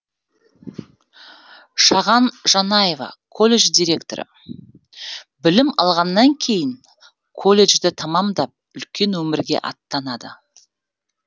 шаған жанаева колледж директоры білім алғаннан кейін колледжді тәмамдап үлкен өмірге аттанады